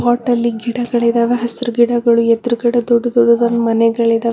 pot ಅಲ್ಲಿ ಗಿಡ ಬೆಳೆದವ ಹಸ್ರು ಗಿಡಗಳು ಎದ್ರುಗಡೆ ದೊಡ್ಡ ದೊಡ್ಡ ಮನೆಗಳಿದ--